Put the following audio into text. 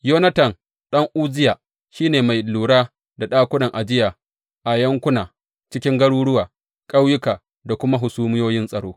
Yonatan ɗan Uzziya shi ne mai lura da ɗakunan ajiya a yankuna, cikin garuruwa, ƙauyuka da kuma hasumiyoyin tsaro.